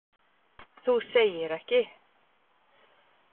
MATRÁÐSKONA: Þú segir ekki!